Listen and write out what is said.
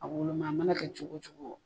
A woloma a mana kɛ cogo cogo